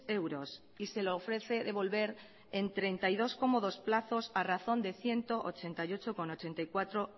euros y se lo ofrece devolver en treinta y dos cómodos plazos a razón de ciento ochenta y ocho coma ochenta y cuatro